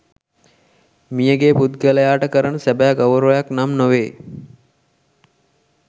මියගිය පුද්ගලයාට කරන සැබෑ ගෞරවයක් නම් නොවේ.